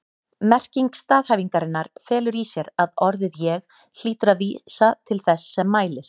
Merking staðhæfingarinnar felur í sér að orðið ég hlýtur að vísa til þess sem mælir.